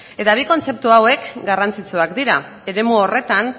eta bi kontzeptu hauek garrantzitsuak dira eremu horretan